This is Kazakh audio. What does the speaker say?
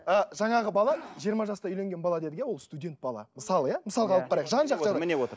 ы жаңағы бала жиырма жаста үйленген бала дедік иә ол студент бала мысалы иә мысалға алып қарайық жан жақты міне отыр